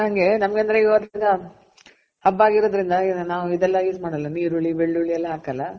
ನಾನು ಹಂಗೆ ನಮ್ಗ್ ಅಂದ್ರೆ ಇವತ್ತಿಂದ ಹಬ್ಬ ಆಗಿರೋದ್ರಿಂದ ನಾವ್ ಇದೆಲ್ಲ use ಮಾಡಲ್ಲ ನೀರುಳ್ಳಿ, ಬೆಳ್ಳುಳ್ಳಿ ಎಲ್ಲ ಹಾಕಲ್ಲ.